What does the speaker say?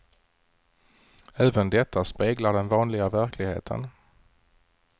Även detta speglar den vanliga verkligheten.